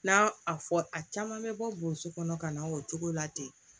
N'a a fɔ a caman bɛ bɔ boso kɔnɔ ka na o cogo la ten